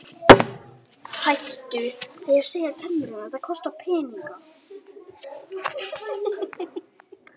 Flest ský á Mars eru úr frosnu koltvíildi.